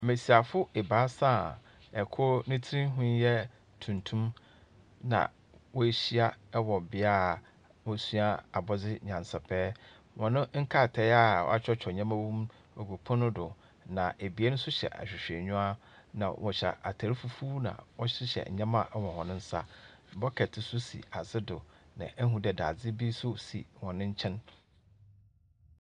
Mmesiafo ebaasa a kor ne tsir ho yɛ tuntum, na woehyia wɔ bea a wɔsua abɔdze nyansapɛ. Hɔn nkratae a wɔatwerɛtwerɛ nneɛma wom ɔgu pono do, na ebien nso hyɛ ahwehwɛniwa, na wɔhyɛ atar fufuw na wɔhyehyɛ nneɛma wɔ hɔn nsa. Bucket nso si ase do, na ehu dɛ dadze bi nso si hɔn nkyɛn.